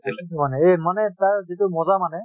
তাকে তো মানে, এই মানে তাৰ যিটো মজা মানে